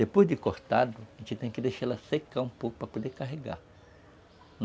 Depois de cortado, a gente tem que deixar ela secar um pouco para poder carregar.